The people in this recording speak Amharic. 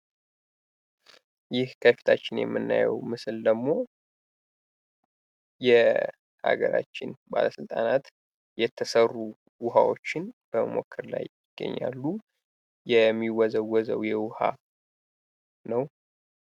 ይህ ከፊታችን የምናየው ምስል ደሞ የሃገራችን ባለስልጣናት የተሰሩ ዉሃዎችን በሞመከር ላይ ይገኛሉ ፤ የሚወዘወዘዉን የዉሃ ነው።